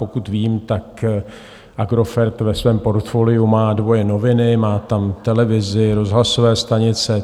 Pokud vím, tak Agrofert ve svém portfoliu má dvoje noviny, má tam televizi, rozhlasové stanice.